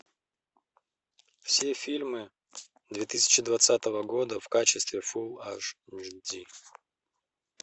все фильмы две тысячи двадцатого года в качестве фул аш ди